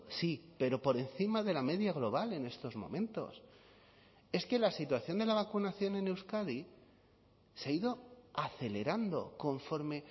sí pero por encima de la media global en estos momentos es que la situación de la vacunación en euskadi se ha ido acelerando conforme